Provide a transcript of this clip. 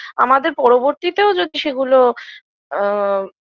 আমাদের পরবর্তীতেও যদি সেগুলো আ